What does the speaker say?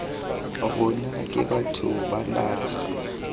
rona ke batho ba naga